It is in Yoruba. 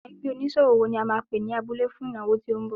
Ẹgbẹ́ oníṣòwò wo ni a máa pè ní abúlé fún ìnáwó tí ó ń bọ̀.